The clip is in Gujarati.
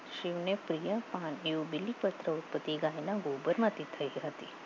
શિવને પ્રિય પાન એવું બિલિપત્ર ઉપતિ ગાયના ચાઇના ગોબરમાંથી થઈ આવ્યું